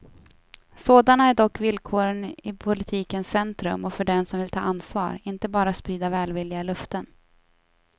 Sådana är dock villkoren i politikens centrum och för dem som vill ta ansvar, inte bara sprida välvilliga löften.